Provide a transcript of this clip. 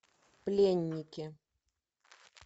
пленники